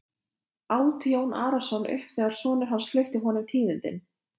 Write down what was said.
át Jón Arason upp þegar sonur hans flutti honum tíðindin.